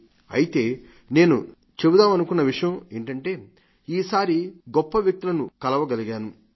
ి అయితే నేను చెబుదామనుకున్న విషయం ఏమిటంటే ఈ సారి గొప్ప వ్యక్తులను కలవగలిగాను